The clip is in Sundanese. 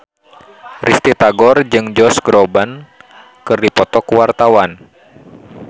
Risty Tagor jeung Josh Groban keur dipoto ku wartawan